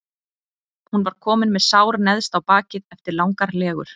Hún var komin með sár neðst á bakið eftir langar legur.